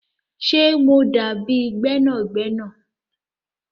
Ṣé mo dábi gbẹnàgbẹ̀nà?